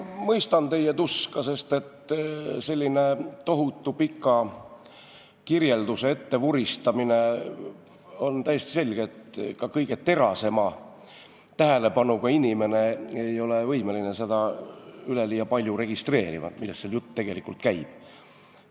Ma mõistan teie tuska, sest sellise tohutu pika kirjelduse ettevuristamisel on täiesti selge, et ka kõige terasema tähelepanuga inimene ei ole võimeline üleliia palju registreerima, millest tegelikult jutt käib.